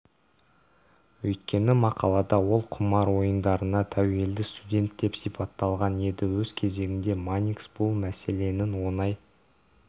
өйткені мақалада ол құмар ойындарына тәуелді студент деп сипатталған еді өз кезегінде манникс бұл мәселенің оңай